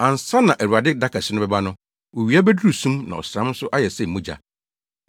Ansa na Awurade da kɛse no bɛba no, owia beduru sum na ɔsram nso ayɛ sɛ mogya.